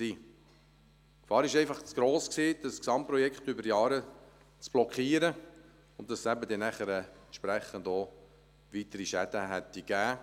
Die Gefahr war einfach zu gross, das Gesamtprojekt über Jahre zu blockieren, und dass es nachher eben auch entsprechend weitere Schäden gegeben hätte.